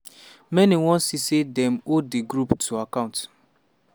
many wan see say dem hold di group to account.